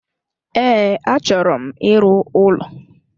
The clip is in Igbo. Ee, achọro m ịrụ ụlọ